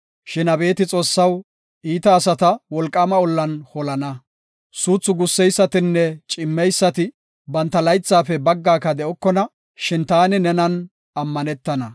Shin Abeeti Xoossaw, iita asata wolqaama ollan holana. Suuthu gusseysatinne cimmeysati, banta laythaafe baggaaka de7okona; shin taani nenan ammanetana.